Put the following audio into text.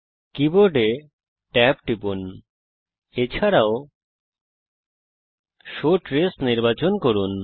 কীবোর্ডে ট্যাব টিপুন এছাড়াও শো ট্রেস নির্বাচন করুন